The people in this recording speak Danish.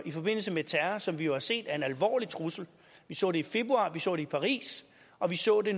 i forbindelse med terror som vi jo har set er en alvorlig trussel vi så det i februar vi så det i paris og vi så det